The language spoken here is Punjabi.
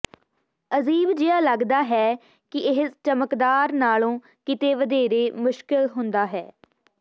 ਅਜੀਬ ਜਿਹਾ ਲੱਗਦਾ ਹੈ ਕਿ ਇਹ ਚਮਕਦਾਰ ਨਾਲੋਂ ਕਿਤੇ ਵਧੇਰੇ ਮੁਸ਼ਕਲ ਹੁੰਦਾ ਹੈ